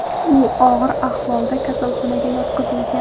U og‘ir ahvolda kasalxonaga yotqizilgan.